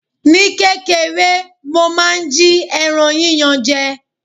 Ní kékeré, mo máa ń jí ẹran yíyan je.